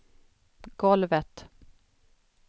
golvet